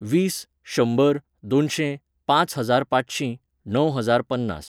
वीस, शंबर, दोनशें, पांच हजार पांचशी, णव हजार पन्नास